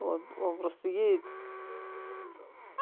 он он просто едет